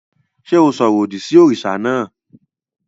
Ṣé o sọ̀rọ̀ òdì sí òrìṣà náà?